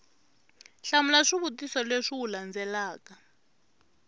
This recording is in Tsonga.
hlamula swivutiso leswi wu landzelaka